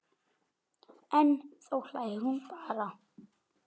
En þá hlær hún bara.